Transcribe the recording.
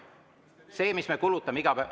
Selle eest, mis me iga päev kulutame.